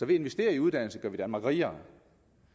at investere i uddannelse gør vi danmark rigere